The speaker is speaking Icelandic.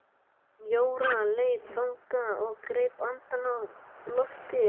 Jóra leit þangað og greip andann á lofti.